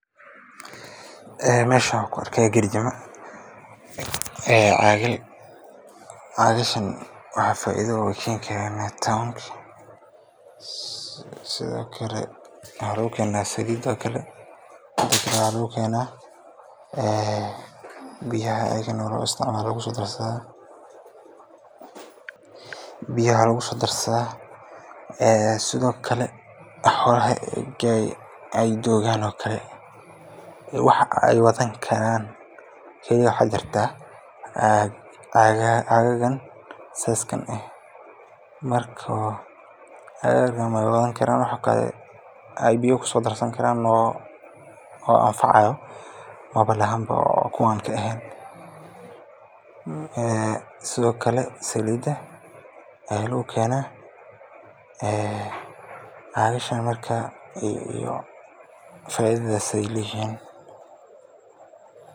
Meeshan waxaan ku arkaaya garjimo ama caagal, waxaa lagu keena saliid, waxaa lagu keena biyaha, ayaa lagu soo darsadaa, xoolaha waxa aay wadan karaan waxaa jiraa cagahan noocan ah, wax kale oo anfacaayo Malan, saliida ayaa lagu keena.